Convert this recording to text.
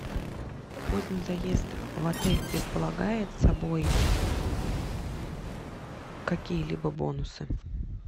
поздний заезд в отель предполагает собой какие либо бонусы